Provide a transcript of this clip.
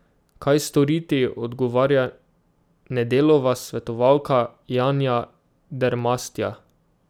Kaj storiti, odgovarja Nedelova svetovalka, Janja Dermastja.